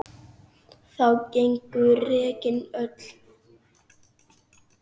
Þá gengu regin öll